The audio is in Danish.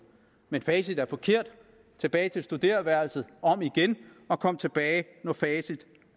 men facit er forkert tilbage til studereværelset om igen og kom tilbage når facit